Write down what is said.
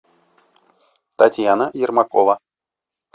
татьяна ермакова